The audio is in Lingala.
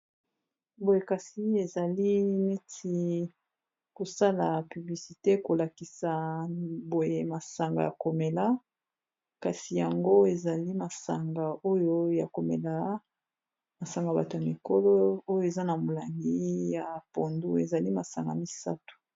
Boye kasi ezali neti ko sala publicité, ko lakisa boye masanga ya ko mela, kasi yango ezali masanga oyo ya komela . Masanga bato ya mikolo oyo eza na molangi ya pondu ezali masanga misato .